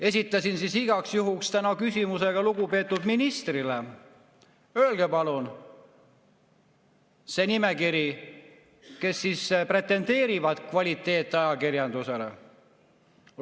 Esitasin täna igaks juhuks küsimuse ka lugupeetud ministrile: öelge palun, kes pretendeerivad kvaliteetajakirjandusele.